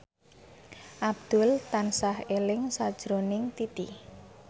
Abdul tansah eling sakjroning Titi